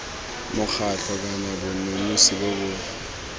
mokgatlho kana bonosi bo bo